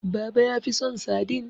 baba ya fi son sadin